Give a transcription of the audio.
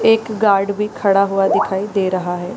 एक गार्ड भी खड़ा हुआ दिखाई दे रहा है।